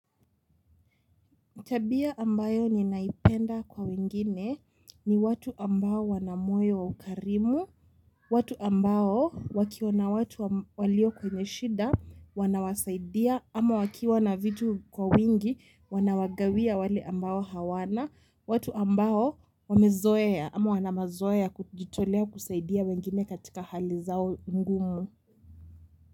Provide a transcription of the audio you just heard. Tabia ambayo ni naipenda kwa wengine ni watu ambao wana moyo wa ukarimu, watu ambao wakiona watu walio kwenye shinda wana wasaidia ama wakiwa na vitu kwa wingi wanawagawia wale ambao hawana watu ambao wamezoea ama wana mazoea ya kujitolea kusaidia wengine katika hali zao ngumu.